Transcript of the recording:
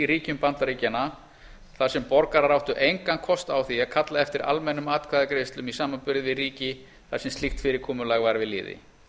ríkjum bandaríkjanna þar sem borgarar áttu engan kost á því að kalla eftir almennum atkvæðagreiðslum í samanburði við ríki þar sem slíkt fyrirkomulag var við lýði